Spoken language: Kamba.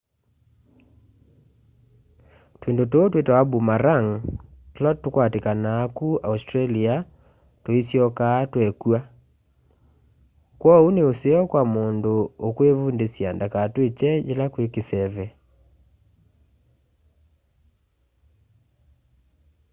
twindu tuu twitawa boomerang tula tukwatikanaa ku australia tuisyokaa twekw'a kwoou ni useo kwa mundu ukwivundisya ndakatwikye yila kwi kiseve